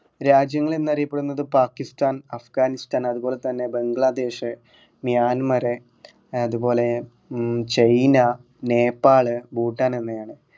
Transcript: രാജ്യങ്ങൾ എന്ന് അറിയപ്പെടുന്നത് പാകിസ്ഥാൻ അഫ്ഗാനിസ്ഥാൻ അതുപോലെ തന്നെ ബംഗ്ലാദേശ് മ്യാന്മർ ഏർ അതുപോല ഉം ചൈന നേപ്പാള് ഭൂട്ടാൻ എന്നിവയാണ്